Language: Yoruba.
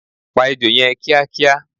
Pa Ejò yẹn kíá kíá!